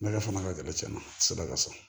Ne ka fanga ka gɛlɛ cɛn ma se bagaka sɔrɔ